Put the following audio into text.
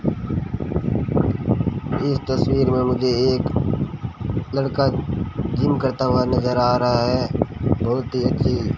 इस तस्वीर में मुझे एक लड़का जिम करता हुआ नजर आ रहा है बहुत ही अच्छी --